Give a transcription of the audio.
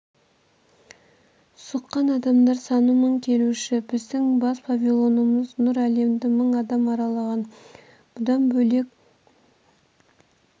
сұққан адамдар саны мың келуші біздің бас павильонымыз нұр әлемді мың адам аралаған бұдан бөлек